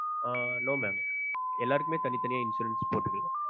ஆஹ் no ணெ எல்லருக்குமே தனி தனியா insurance போட்டுக்கலாம்